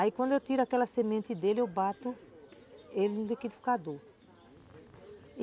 Aí quando eu tiro aquela semente dele, eu bato ele no liquidificador.